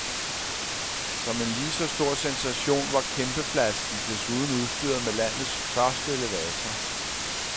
Som en lige så stor sensation var kæmpeflasken desuden udstyret med landets første elevator.